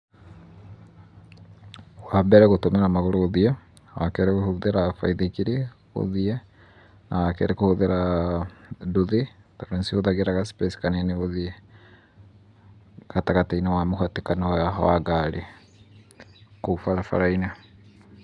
Wa mbere gũtũmĩra magũrũ ũthiĩ, wa kerĩ gũhũthĩra baithikiri, ũthiĩ, na wa keri kũhũthĩra ah nduthi tondũ nicihũthagĩra ga space kanini gũthiĩ, gatagatĩ-inĩ wa mũhatĩkano wa ngari, kũu barabara-inĩ.